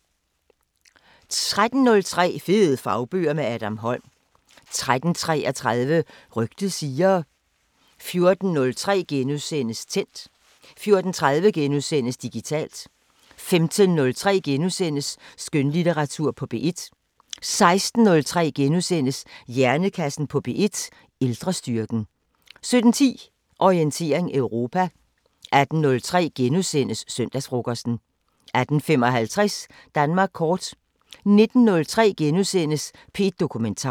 13:03: Fede fagbøger – med Adam Holm 13:33: Rygtet siger 14:03: Tændt * 14:30: Digitalt * 15:03: Skønlitteratur på P1 * 16:03: Hjernekassen på P1: Ældrestyrken * 17:10: Orientering Europa 18:03: Søndagsfrokosten * 18:55: Danmark Kort 19:03: P1 Dokumentar *